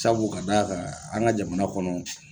Sabu ka d'a kan an ka jamana kɔnɔ